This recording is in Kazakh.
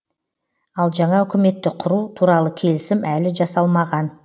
ал жаңа үкіметті құру туралы келісім әлі жасалмаған